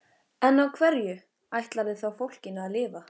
En á hverju ætlarðu þá fólkinu að lifa?